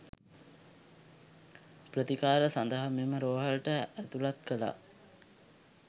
ප්‍රතිකාර සඳහා මෙම රෝහලට ඇතුළත් කළා